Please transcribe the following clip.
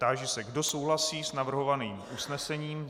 Táži se, kdo souhlasí s navrhovaným usnesením.